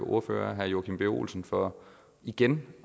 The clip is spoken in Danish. ordfører herre joachim b olsen for igen